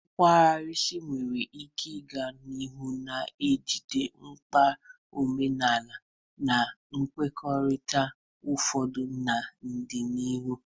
Kawurisi nwere ike ịga n'ihu na-ejide mkpa omenala na mpaghara ụfọdụ n'ọdịnihu.